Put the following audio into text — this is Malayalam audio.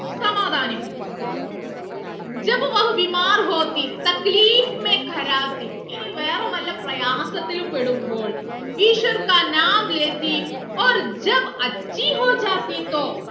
സമാധാനിപ്പിക്കും ഇനി വേറെ വല്ല പ്രയാസത്തിലും പെടുമ്പോൾ ഈശ്വർ